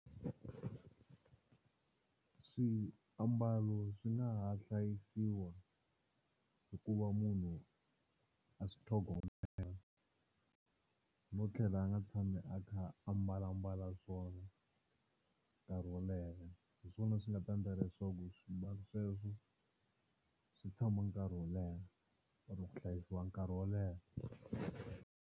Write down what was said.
Swiambalo swi nga ha hlayisiwa hikuva munhu a swi tlhogomela no tlhela a nga tshami a kha a mbalambala swona nkarhi wo leha, hi swona swi nga ta endla leswaku swimbalo sweswo swi tshama nkarhi wo leha or ku hlayisiwa nkarhi wo leha.